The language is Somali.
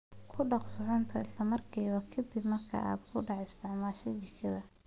Ku dhaq suxuunta isla markaaba ka dib markaad ku dhex isticmaasho jikada.